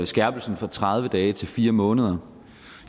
skærpelsen fra tredive dage til fire måneder